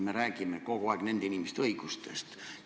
Me räägime kogu aeg nende inimeste õigustest.